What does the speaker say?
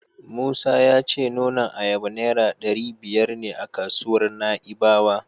Musa ya ce nonon ayaba Naira ɗari biyar ne a kasuwar Na'ibawa.